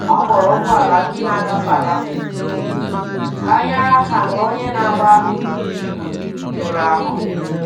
Ọ kpọrọ ụgbọ̀ala ndị na-agefe agafe ka hà nyere aka mgbe onye na-agba ígwè merụrụ ahú.